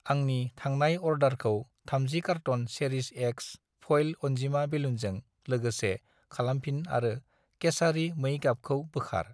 आंनि थांनाय अर्डारखौ 30 कार्टन चेरिश एक्स फइल अन्जिमा बेलुनजों लोगोसे खालामफिन आरो केसारि मै गाबखौ बोखार।